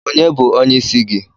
Ònye bụ onyeisi gị?